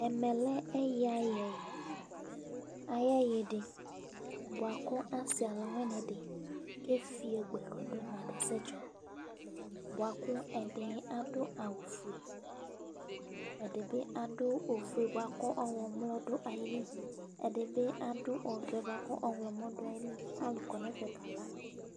Ɛmɛlɛ ɛyui ayɛ ayu ɛyuidi buaku asi ɔluwinidi kefio gbɛkɔ du buaku ɛdiɛ adu awu fue ɛdibi adu awu fue buaku ɔɣlomɔ du ayili ɛdibi adu ɔwɛ buaku ɔɣlomɔ du ayili alu kɔnɛfɛ kala